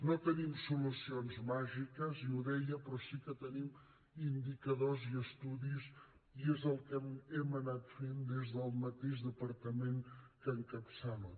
no tenim solucions màgiques ja ho deia però sí que tenim indicadors i estudis i és el que hem anat fent des del mateix departament que encapçalo